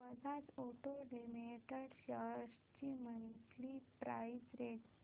Bajaj auto limited shares ची monthly price range